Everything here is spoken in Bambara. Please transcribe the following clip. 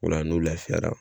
Ola n'o lafiyara